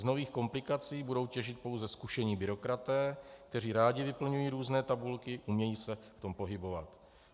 Z nových komplikací budou těžit pouze zkušení byrokraté, kteří rádi vyplňují různé tabulky, umějí se v tom pohybovat.